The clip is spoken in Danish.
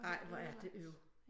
Ej hvor er det øv